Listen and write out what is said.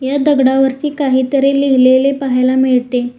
या दगडावरती काहीतरी लिहिलेले पाहायला मिळते.